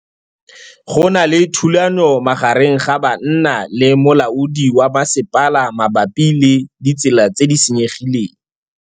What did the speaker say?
Go na le thulanô magareng ga banna le molaodi wa masepala mabapi le ditsela tse di senyegileng.